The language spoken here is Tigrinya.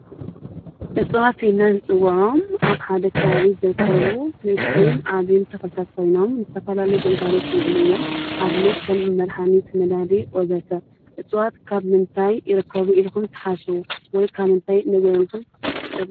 እፅዋት ኢልና እንፅዉዖም ኣብ ሓደ ከባቢ ዝርከቡ ንእሽተይን ዓብይን ተክልታት ኮይኖም ዝተፈላለዩ ግልጋሎት ዝዉዕሉ እዮም። ንኣብነት ከም መድሓኒ ነዳዲ ወዘተ እፅዋት ካብ ምንታይ ይርከቡ ኢልኩም ትሓስቡ ወይ ካብ ምንታይ ንበልኩም?